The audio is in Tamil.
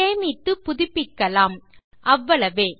சேமித்து புதிப்பிக்கலாம்அவ்வளவே